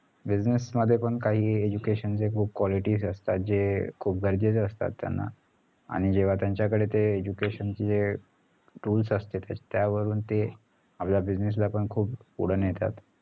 business मध्ये पण काही education चे qualities असतात जे खूप गरजेचे असतात त्यांनाआणि जेव्हा त्यांच्याजडे ते education चे जे tool असतात त्यावरून ते business ला पण खूप पुढे नेतात